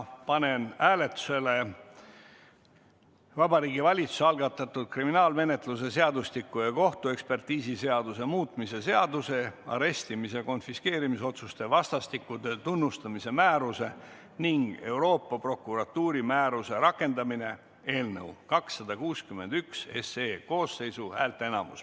Panen hääletusele Vabariigi Valitsuse algatatud kriminaalmenetluse seadustiku ja kohtuekspertiisiseaduse muutmise seaduse eelnõu 261.